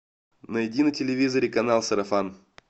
найди на телевизоре канал сарафан